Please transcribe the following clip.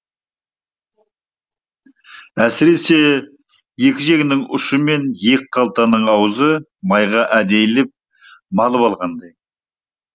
әсіресе екі жеңнің ұшы мен екі қалтаның аузы майға әдейілеп малып алғандай